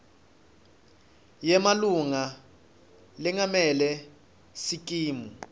yemalunga lengamele sikimu